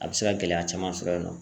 A bɛ se ka gɛlɛya caman sɔrɔ yen nɔ